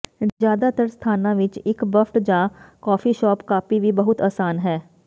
ਜ਼ਿਆਦਾਤਰ ਸਥਾਨਾਂ ਵਿੱਚ ਇੱਕ ਬੱਫਟ ਜਾਂ ਕੌਫੀ ਸ਼ੋਪ ਕਾੱਪੀ ਵੀ ਬਹੁਤ ਆਸਾਨ ਹੈ